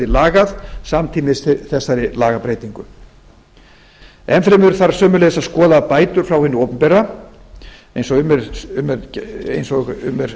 lagað samtímis þessari lagabreytingu enn fremur þarf sömuleiðis að skoða bætur frá hinu opinbera eins og um er